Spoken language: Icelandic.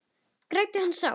Græddi hann sár